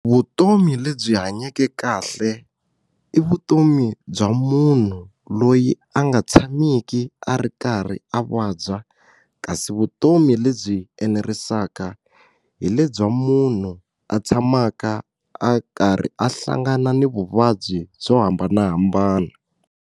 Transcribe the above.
Vutomi lebyi hanyeke kahle i vutomi bya munhu loyi a nga tshamiki a ri karhi a vabya kasi vutomi lebyi enerisaka hi le bya munhu a tshamaka a karhi a hlangana na vuvabyi byo hambanahambana.